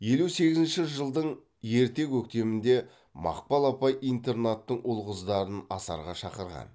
елу сегізінші жылдың ерте көктемінде мақпал апай интернаттың ұл қыздарын асарға шақырған